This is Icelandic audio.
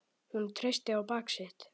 Hún treysti á bak sitt.